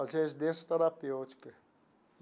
As residência terapêutica.